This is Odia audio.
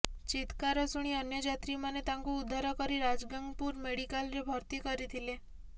ଚିତ୍କାର ଶୁଣି ଅନ୍ୟ ଯାତ୍ରୀମାନେ ତାଙ୍କୁ ଉଦ୍ଧାର କରି ରାଜଗାଙ୍ଗପୁର ମେଡିକାଲ୍ରେ ଭର୍ତ୍ତି କରିଥିଲେ